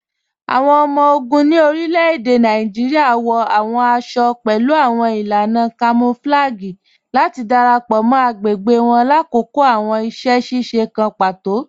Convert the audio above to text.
Awọn ọmọ-ogun ni orílẹ̀-èdè Nàìjíríà wọ awọn àṣọ-àṣọ̀ pẹ̀lú awọn ilànà kamọ̀flàgíì láti darapọ mọ́ agbẹ̀gbẹ̀ wọn lákọkọ̀ awọn iṣẹ̀-ṣiṣe kàn pátò.